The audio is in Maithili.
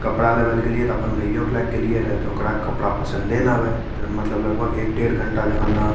कपड़ा लेवल गेलिये त अपन भइयो के ले के गेलियो रहे त ओकरा कपड़ा पसंदे न आवई त मतलब लगभग एक डेढ़ घंटा जेखोन न --